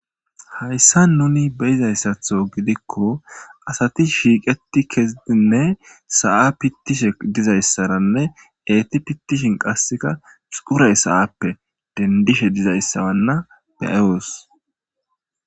Hayssan nuni be'izayssatho gidikko asati shiiqetti kezidinne sa'a pittishe dizayssaranne eeti pittishin qassika xuray sa'appe dendishe dizayssanna be'os.